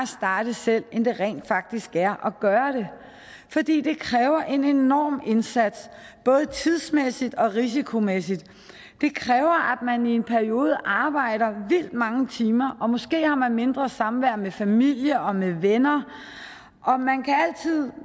starte selv end det rent faktisk er at gøre det fordi det kræver en enorm indsats både tidsmæssigt og risikomæssigt det kræver at man i en periode arbejder vildt mange timer og måske har man mindre samvær med familie og venner